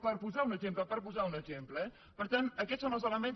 per posar un exemple per posar un exemple eh per tant aquests són els elements